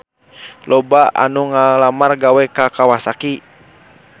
Loba anu ngalamar gawe ka Kawasaki